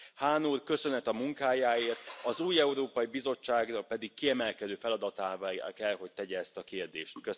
Hahn úr, köszönet a munkájáért, az új Európai Bizottság pedig kiemelkedő feladatává kell, hogy tegye ezt a kérdést.